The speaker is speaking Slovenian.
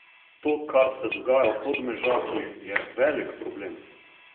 To, kar se dogaja v Podmežakli, je velik problem.